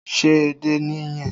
Ṣé edé nìyẹn?